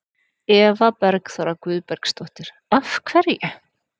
Eva Bergþóra Guðbergsdóttir: Af hverju?